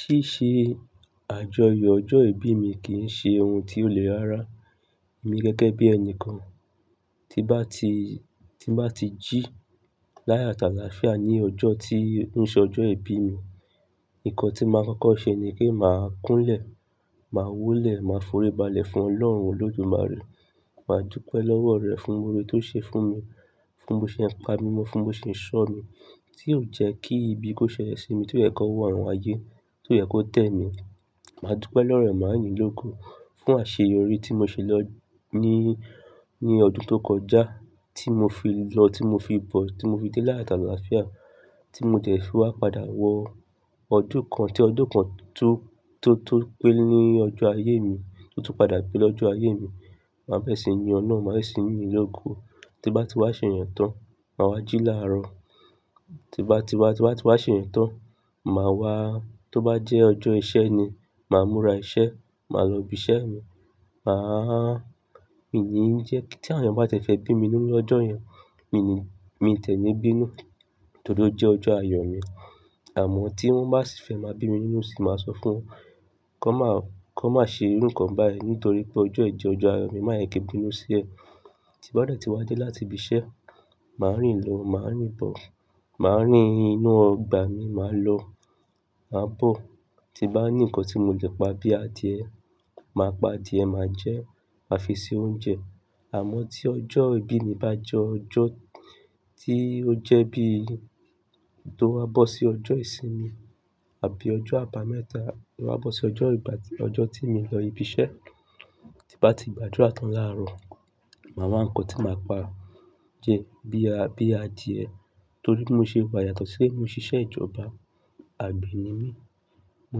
Ṣíṣe àjọyọ̀ ọjọ́ ìbí mi kì í ṣe ohun tí ó lè rára. Èmi gẹ́gẹ́ bí ẹni kan tí n bá ti, tí n bá ti jí láyọ̀ àti áláafíà ní ọjọ́ tí o ṣe ọjọ́ ìbí mi. Nǹkan tí màá kọ́kọ́ ṣe ni pé màá kúnlẹ̀, màá wólẹ̀, màá foríbalẹ̀ fún Ọlọ́run olódúmàre. Màá dúpẹ́ lọ́wọ́ rẹ̀ fún oore tó ṣe fún mi, fún bó ṣe pa mi mọ́, fún bó ṣe ṣọ́ mi, tí ò jẹ́ kí ibi kó ṣẹlẹ̀ sí mi, tí ò jẹ́ kí ọwọ́ àwọn aayé, tí ò jẹ́ kó tẹ́ mi. Màá dúpẹ́ lọ́wọ́ maami l'eko fún àṣeyọrí tí mo ṣe lọ ní, ní ọdún tó kọjá, tí mo fi lọ, tí mo fi bọ̀, tí mo fi dé láyàtáláfíà, tí mo dẹ́ fi wá padà wọ ọdún kan tí ọdún kan tó, tó, tó pé ní ọjọ́ ayé mi, tó tún padà pé lọ́jọ́ ayé mi. Màá bẹ̀rẹ̀ sí ní yin ọlọ́run, màá bẹ̀rẹ̀ sí yin lógo. Tí n bá ti wá ṣe ìyẹn tán, màá wá jí láàrọ̀. Tí n bá ti wá, tí bá ti wá ṣe ìyẹn tán, màá wá. Tó bá jẹ́ ọjọ́ iṣẹ́ ni, màá múra iṣẹ́, màá lọ ibi iṣẹ́ mi. Màá, mii ní jẹ́ kí tí àwọn ènìyàn bá ti ẹ́ fẹ́ bí mi nínú ní ọjọ́ yẹn, mii ni, mii ti ẹ̀ ni bínu nítorí ó jẹ́ ọjọ́ ayọ̀ mi. Àmọ́ tí wọ́n bá sì fẹ́ máa bí mi nínú sìi, máa sọ fún wọn kí wọ́n má, kí wọ́n má ṣe irú ǹkan báyìí nítorí pé ọjọ́ yìí jẹ́ ọjọ́ ayọ̀ mi máa jẹ kí n bínu sí ẹ. Tí n bá dẹ́ ti wá dé láti ibi iṣẹ́, màá rìn lọ, màá rìn bọ̀, màá rìn inú ọgbà mi, màá lọ, màá bọ̀. Tí n bá ní ǹkan tí mo lè pa bíi adìẹ, màá pa adìẹ, màá jẹ ẹ́, màá fi ṣe oúnjẹ. Àmọ́ tí ọjọ́ ìbí mi bá jẹ́ ọjọ́ tí ó jẹ́ bí tó bá bọ́ sí ọjọ́ ìsinmi àbí ọjọ́ àbámẹ́ta, tó bá bọ́ sí ọjọ́ ìgbà tí, ọjọ́ tí mii lọ ibi iṣẹ́, tí n bá ti gbàdúrà tán láàrọ̀, màá wá ǹkan tí màá pa jẹ bíi a, bíi adìẹ torí pé bí mo ṣe wà yàtọ̀ sí pé mo ń ṣiṣẹ́ ìjọba, àgbẹ̀ ni mí. Mo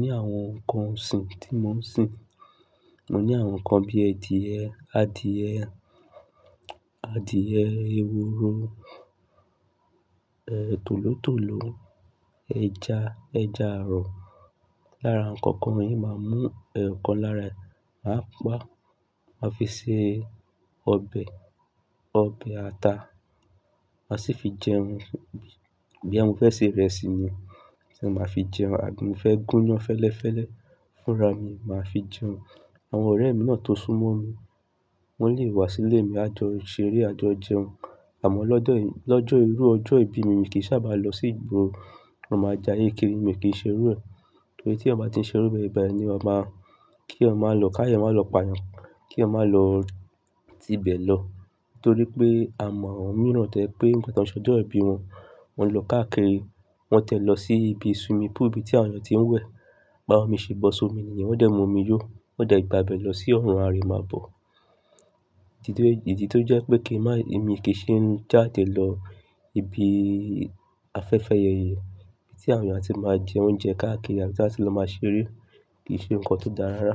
ní àwọn ǹkan ọ̀sìn tí mò ń sìn. Mo ní àwọn ǹkan bíi adìẹ, adìẹ, adìẹ eworo, eh, tòlótòló, ẹja, ẹja ààrọ̀. Lára àwọn ǹkan kan yìí, màá mú ẹ̀yokq lára ẹ̀, màá pa, màá fi ṣe ọbẹ̀, ọbẹ̀ ata, màá sì fi jẹun. Bí i, bí i mo fẹ́ ṣe ìrẹsì ni, tí màá fi jẹun àbí mo fẹ́ gún iyán fẹ́lẹ́fẹ́lẹ́ fúnra mi, màá fi jẹun. Àwọn ọ̀rẹ́ mi náà tó súnmọ́ mi, wọ́n lè wá sílé mi, á jọ ṣeré, á jọ jẹun. Àmọ́ lọ́jọ́ yẹn, lọ́jọ́ irú ọjọ́ ìbí mi, mi kì í sáabà lọ sí ìgboro. Mo máa já ye kiri mi kì í ṣe irú ẹ. Torí tí èèyàn bá ti ń ṣe irú bẹ́ẹ̀ bẹ́ẹ̀ kí èèyàn máa, kí èèyàn ma lọ, káàyọ ma lọ payan, kí èèyàn ma lọ tibẹ̀ lọ. Torí pé a mọ̀ àwọn mìíràn to ẹ́ pé nígbà tán ṣe ọjọ́ ìbí wọn, wọ́n lọ káàkiri, wọ́n tẹ́ lọ sí ibi swimming pool bí tí àwọn èeyàn tí ń wẹ̀. Ba àwọn mi ṣe bọ́ sí omi nìyẹn, wọ́n dẹ̀ mú omi yó, wọ́n dẹ̀ gbà bẹ́ẹ̀ lọ sí ọrùn, a rí i máa bọ̀. Titun, ìdí tó jẹ́ pé kí n má, èmi kì í ṣe ń jáde lọ ibi afẹ́fẹ́yẹyẹ tí àwọn èèyàn tí máa ń jẹ oúnjẹ káàkiri, àti láti lọ máa ṣeré kì í ṣe ǹkan tó dára rárá.